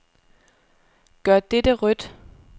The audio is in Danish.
Gør dette rødt.